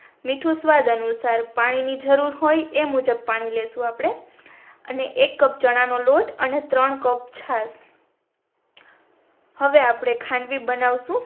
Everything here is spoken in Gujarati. મીઠું સ્વાદ અનુસાર પાણી ની જરૂર હોય એ મુજબ પાણી લેશું આપણે અને એક કપ ચણા નો લોટ અને ત્રણ કપ છાસ હવે આપણે ખાંડવી બાનવશું